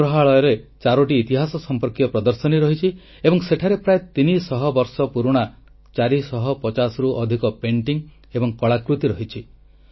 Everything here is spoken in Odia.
ସଂଗ୍ରହାଳୟରେ ଚାରୋଟି ଇତିହାସ ସଂପର୍କୀୟ ପ୍ରଦର୍ଶନୀ ରହିଛି ଏବଂ ସେଠାରେ ପ୍ରାୟ ତିନିଶହ ବର୍ଷ ପୁରୁଣା 450 ରୁ ଅଧିକ ଚିତ୍ରକଳା ଏବଂ କଳାକୃତି ରହିଛି